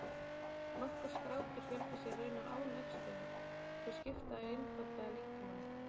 Nokkur skrápdýr fjölga sér raunar án æxlunar, þau skipta einfaldlega líkamanum.